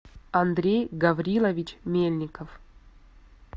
андрей гаврилович мельников